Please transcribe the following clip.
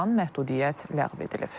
Sonradan məhdudiyyət ləğv edilib.